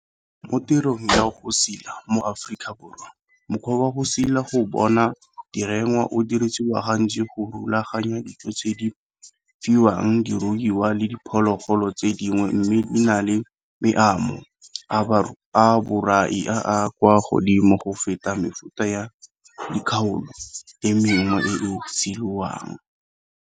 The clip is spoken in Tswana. Mo tirong ya go sila mo Afrikaborwa, mokgwa wa go sila go bona "direngwa" o dirisiwa gantsi go rulaganya dijo tse di fiwang diruiwa le diphologolo tse dingwe mme di na le meamo a borai a a kwa godimo go feta mefuta ya dikgaolo e mengwe e e silwang.